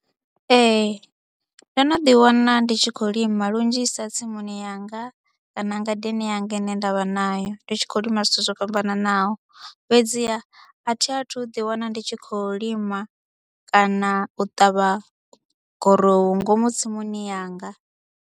Ee ndo no ḓiwana ndi tshi khou lima lunzhisa tsimuni yanga kana ngadeni yanga ine nda vha nayo, ndi tshi khou lima zwithu zwo fhambananaho fhedziha a thi athu ḓiwana ndi tshi khou lima kana u ṱavha gurowu ngomu tsimuni yanga.